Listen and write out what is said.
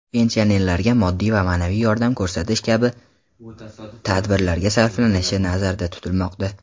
pensionerlarga moddiy va maʼnaviy yordam ko‘rsatish kabi tadbirlarga sarflanishi nazarda tutilmoqda.